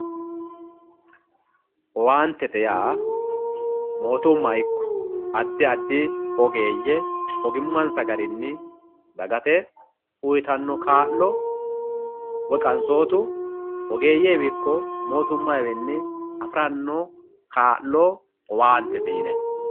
owaantete yaa mootumma ikko addi addi ogeeyye ogimmansa garinni dagate uuttanno kaa'lo woy qansootu ogeeyyewiinni ikko mootumayiwiinni afi'ranno kaa'lo owaantete yinay